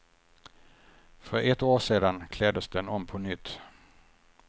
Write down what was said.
För ett år sedan kläddes den om på nytt.